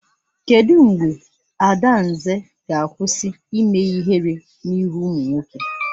Kedụ mgbe Adanze ga-akwụsị ime ihere n'ihu ụmụ nwoke?